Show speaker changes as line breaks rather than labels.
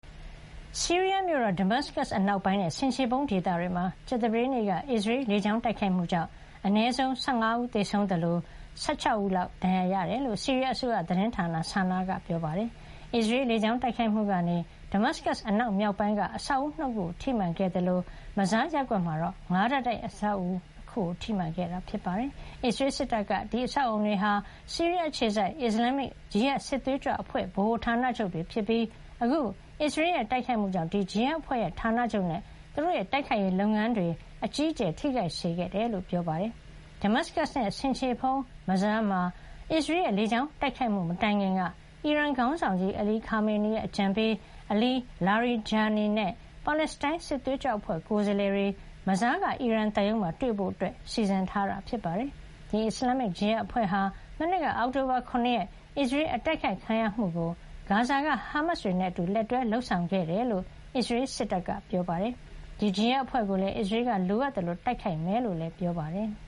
ဆီးရီးယား မြို့တော် ဒမတ်စကပ် အနောက်ပိုင်းနဲ့ ဆင်ခြေဖုံးဒေသတွေမှာ ကြာသပတေးနေ့က အစ္စရေးရဲ့ လေကြောင်း တိုက်ခိုက်မှုကြောင့် သေဆုံးသူ အနည်းဆုံး ၁၅ ယောက်ရှိသလို ဒဏ်ရာရသူက ၁၆ ယောက်လောက် ရှိတယ်လို့ ဆီးရီးယား အစိုးရ သတင်းဌာန SANA က ပြောပါတယ်။ အစ္စရေးရဲ့ လေကြောင်းတိုက်ခိုက်မှုကနေ ဒမတ်စကပ် အနောက်မြောက်ပိုင်းမှာ အဆောက်အဦ ၂ ခုကို ထိမှန်ခဲ့သလို၊ Mazzeh ရပ်ကွက် မှာတော့ ၅ ထပ်တိုက် လူနေအဆောက်အအုံကို ထိမှန်ခဲ့တာပါ။ အစ္စရေး စစ်တပ်ကတော့ အဲဒီ အဆောက်အအုံတွေဟာ ဆီးရီးယား အခြေစိုက် အစ္စလန်မစ် ဂျီဟတ် စစ်သွေးကြွ အဖွဲ့ရဲ့ ဗဟိုဌာနချုပ်တွေ ဖြစ်ပြီး အခု အစ္စရေးရဲ့ တိုက်ခိုက်မှုကြောင့် ဒီ ဂျီဟတ်အဖွဲ့ရဲ့ ဌာနချုပ်နဲ့ သူတို့ရဲ့ တိုက်ခိုက်ရေး လုပ်ငန်းတွေအတွက် အကြီးအကျယ် ထိခိုက်စေခဲ့တယ်လို့ ပြောပါတယ်။ ဒမတ်စကပ်နဲ့ ဆင်ခြေဖုံး Mazzeh မှာ အစ္စရေးရဲ့ လေကြောင်း တိုက်ခိုက်မှု မတိုင်ခင်က အီရန်ခေါင်းဆောင်ကြီးး Ali Khamenei ရဲ့ အကြံပေး အလီ လာရီဂျာနီ - Ali Larijani နဲ့ ပါလက်စတိုင်း စစ်သွေးကြွအဖွဲ့ ကိုယ်စားလှယ်တွေ Mazzeh က အီရန်သံရုံးမှာ တွေ့ဆုံဖို့ စီစဉ်ထားတာ ဖြစ်ပါတယ်။ ဒီ အစ္စလန်မစ် ဂျီဟတ်အဖွဲ့ဟာ မနှစ်က အောက်တိုဘာ ၇ ရက် အစ္စရေးအတိုက်ခိုက်ခံရမှုကို ဂါဇာက ဟားမတ်စ်တွေနဲ့ လက်တွဲလုပ်ဆောင်ခဲ့ တာဖြစ်ကြောင်း အစ္စရေး စစ်တပ်က ပြောပါတယ်။ ဒီ ဂျီဟတ်အဖွဲ့ကိုလည်း အစ္စရေးက လိုအပ်သလို တိုက
်ခိုက်မှာ ဖြစ်ကြောင်းလည်း ပြောပါတယ်။